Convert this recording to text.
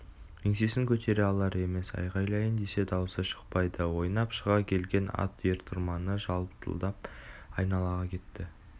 еңсесін көтере алар емес айғайлайын десе дауысы шықпайды ойнап шыға келген ат ер-тұрманы жалтылдап айдалаға кетті